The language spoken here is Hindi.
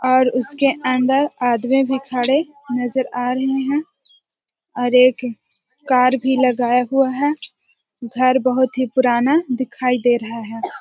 और उसके अंदर आदमी भी खड़े नजर आ रहे है। और एक कार भी लगाया हुवा है। घर बोहोत ही पुराना दिखाई दे रहा है।